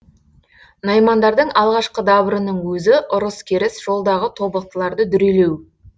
наймандардың алғашқы дабырының өзі ұрыс керіс жолдағы тобықтыларды дүрелеу